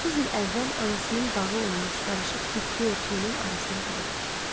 30 il əvvəl anasının bağı olmuş qarışıq bitki örtüyünün arasına daldı.